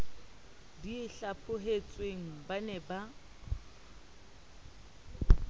di hlaphohetsweng ba ne ba